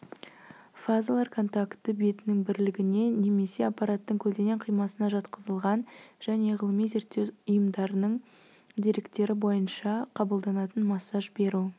фазалар контакті бетінің бірлігіне немесе аппараттың көлденең қимасына жатқызылған және ғылыми-зерттеу ұйымдарының деректері бойынша қабылданатын массаж беру